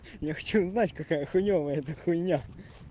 я хочу узнать какая хуевая эта хуйня